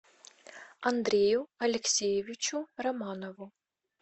андрею алексеевичу романову